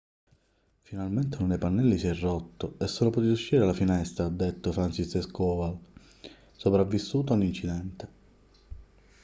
finalmente uno dei pannelli si è rotto e sono potuti uscire dalla finestra ha detto franciszek kowal sopravvissuto all'incidente